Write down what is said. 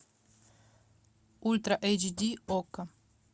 ультра эйч ди окко